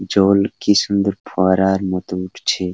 জল কি সুন্দর ফোয়ারার মতো উঠছে।